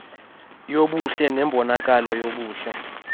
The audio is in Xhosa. yobuhle nembonakalo yobuhle